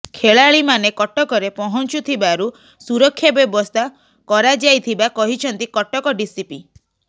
ଖେଳାଳି ମାନେ କଟକରେ ପହଞ୍ଚୁଥିବାରୁ ସୁରକ୍ଷା ବ୍ୟବସ୍ଥା କରାଯାଇଥିବା କହିଛନ୍ତି କଟକ ଡିସିପି